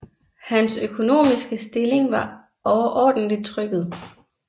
Hans økonomiske stilling var overordentlig trykket